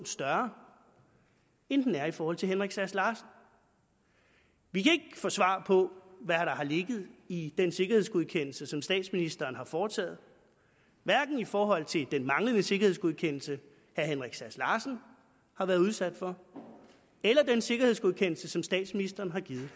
større end den er i forhold til herre henrik sass larsen vi kan ikke få svar på hvad der har ligget i den sikkerhedsgodkendelse som statsministeren har foretaget hverken i forhold til den manglende sikkerhedsgodkendelse herre henrik sass larsen har været udsat for eller den sikkerhedsgodkendelse som statsministeren har givet